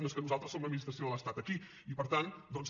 no és que nosaltres som administració de l’estat aquí i per tant doncs